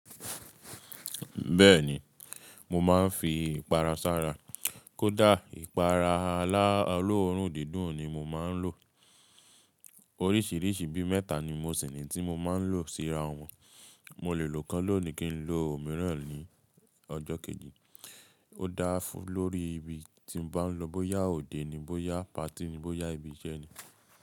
Bẹ́ẹ̀ni, mo máa ń fi ipara sára. Kódà ipara aláró òloórùn dídùn ni mo máa ń lò. Oríṣìíríṣìí bí mẹ́ta ni mo sì ní tí mo máa ń lò síra wọn. Mo lè lo kan lónìí kí n lo òmíràn ní ọjọ́ kejì. Ó dáa fún lórí ibi tí mo bá lọ. Bóyá òde ni, bóyá patí ni, bóyá ibi iṣẹ́ ni.